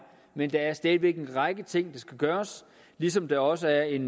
men der er stadig væk en række ting der skal gøres ligesom der også er en